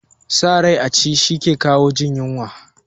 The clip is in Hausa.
Sa rai a ci shi ke kawo jin yunwa